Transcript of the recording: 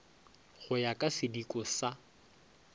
go ya ka sidiko sa